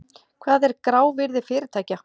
Hvað er grávirði fyrirtækja?